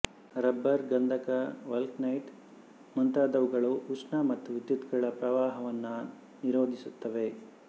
rubber ಗಂಧಕ vulcanite ಮುಂತಾದವುಗಳು ಉಷ್ಣ ಮತ್ತು ವಿದ್ಯುತ್ತುಗಳ ಪ್ರವಾಹವನ್ನು ನಿರೋಧಿಸುತ್ತವೆ